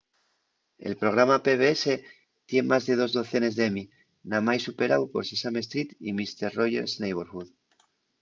el programa pbs tien más de dos docenes d'emmy namái superáu por sesame street y mister roger's neighborhood